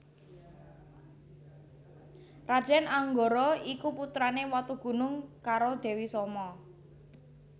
Raden Anggara iku putrane Watugunung karo Dewi Soma